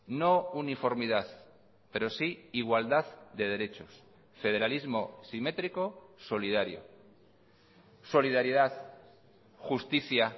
no uniformidad pero sí igualdad de derechos federalismo simétrico solidario solidaridad justicia